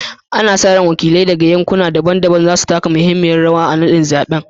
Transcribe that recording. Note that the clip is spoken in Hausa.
Ana sa ran wakilai daga yankuna daban-daban za su taka muhimmiyar rawa a naɗin zaɓen